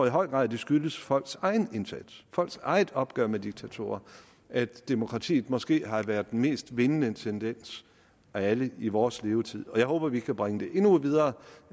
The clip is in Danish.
i høj grad skyldes folks egen indsats folks eget opgør med diktatorer at demokratiet måske har været den mest vindende tendens af alle i vores levetid jeg håber at vi kan bringe det endnu videre